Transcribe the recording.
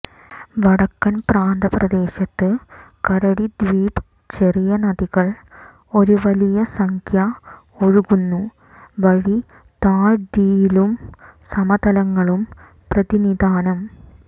വടക്കൻ പ്രാന്തപ്രദേശത്ത് കരടി ദ്വീപ് ചെറിയ നദികൾ ഒരു വലിയ സംഖ്യ ഒഴുകുന്നു വഴി താഴ്വീതിയിലും സമതലങ്ങളും പ്രതിനിധാനം